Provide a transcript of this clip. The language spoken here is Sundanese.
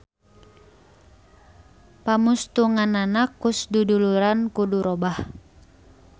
Pamustunganana Koes Duduluran kudu robah.